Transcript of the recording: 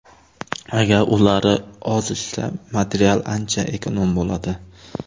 Agar ular ozishsa material ancha ekonom bo‘ladi.